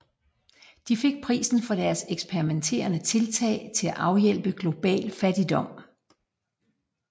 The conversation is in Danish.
De fik prisen for deres eksperimentelle tiltag til at afhjælpe global fattigdom